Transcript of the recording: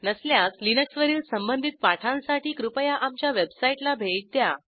नसल्यास लिनक्सवरील संबंधित पाठांसाठी कृपया आमच्या वेबसाईटला भेट द्या